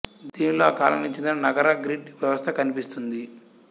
దీనిలో ఆ కాలానికి చెందిన నగర గ్రిడ్ వ్యవస్థ కనిపిస్తోంది